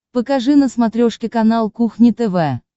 покажи на смотрешке канал кухня тв